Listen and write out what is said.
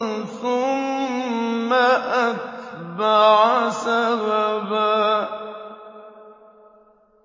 ثُمَّ أَتْبَعَ سَبَبًا